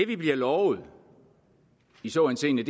vi bliver lovet i så henseende